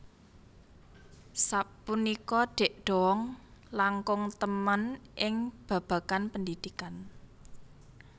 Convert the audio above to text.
Sapunika Dik Doank langkung temen ing babagan pendidikan